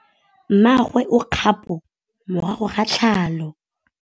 Mmagwe o kgapô morago ga tlhalô.